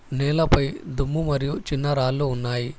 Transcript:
నేల పై దుమ్ము మరియు చిన్న రాళ్ళు ఉన్నాయి.